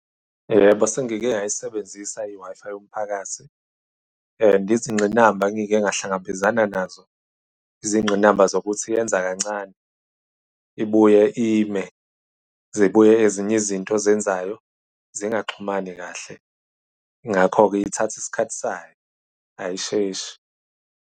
Yebo, sengike ngayisebenzisa i-Wi-Fi yomphakathi. Izingqinamba ngike ngahlangabezana nazo, izingqinamba zokuthi iyenza kancane. Ibuye ime, zibuye ezinye izinto ozenzayo singaxhumani kahle. Ngakho-ke ithatha isikhathi sayo, ayisheshi.